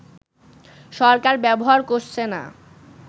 সরকার ব্যবহার করছে না